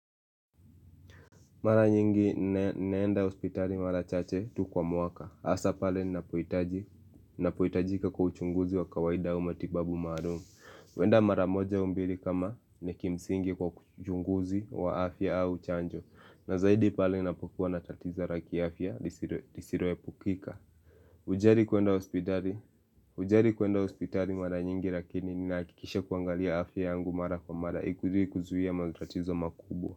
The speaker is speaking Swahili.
Mara nyingi naenda hospitali mara chache tu kwa mwaka. Hasa pale napohitaji napohitajika kwa uchunguzi wa kawaida au matibabu maalumu. Kuenda mara moja au mbili kama ni kimsingi kwa uchunguzi wa afya au chanjo. Na zaidi pale napokuwa na tatizo la kiafya lisiloepukika. Hujali kuenda hospitali? Hujali kuenda hospitali mara nyingi lakini ni hakikisha kuangalia afya yangu mara kwa mara ikuje kuzuia matatizo makubwa.